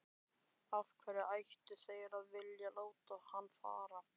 Af hverju ættu þeir að vilja láta hann fara?